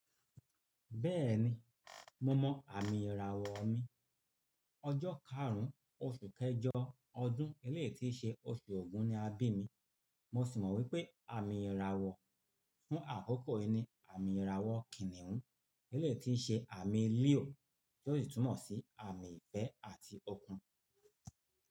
Bẹ́ẹ̀ni, mo mọ àmì ìràwọ̀ mi. Ọjọ́ karùn-ún oṣù kẹjọ ọdún eléèétí ṣe oṣù ọ̀gún ni a bí mi. Mo sì mọ̀ wípé àmì ìràwọ̀ fún àkókò yìí ni àmì ìràwọ̀ kìnnìún eléèétí ṣe àmì líò tó sì túmọ̀ sí àmì ìfẹ́ àti okun.